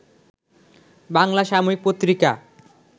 বাংলা সাময়িক পত্রিকা